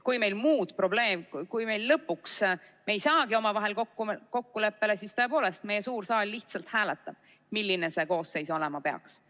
Kui me lõpuks ei saagi omavahel kokkuleppele, siis tõepoolest meie suur saal lihtsalt hääletab, milline see koosseis olema peaks.